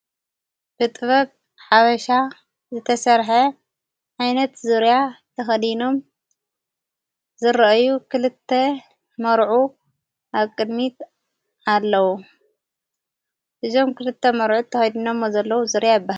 ብጥበብ ሓበሻ ዘተሠርሐ ኣይነት ዙርያ ተኸዲኖም ዘርአዩ ክልተ መርዑ ኣቅድሚት ኣለዉ ብዞም ክልተ መርዑ ተኸዲኖም ሞ ዘለዉ ዙርያ ይበሃል።